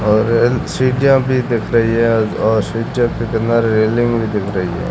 और एन सीढ़िया भी दिख रही है और सीढ़ियो पे बना रेलिंग भी दिख रही है।